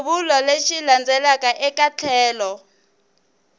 xivulwa lexi landzelaka eka tlhelo